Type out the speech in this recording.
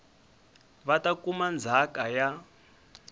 va ta kuma ndzhaka ya